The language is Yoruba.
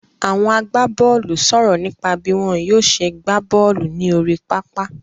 Àwọn agbábọ́ọ́lù sọ̀rọ̀ nípa bí wọ́n yóò ṣe gbá bọ́ọ́lù ní orí pápá.